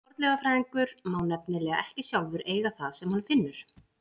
Fornleifafræðingur má nefnilega ekki sjálfur eiga það sem hann finnur.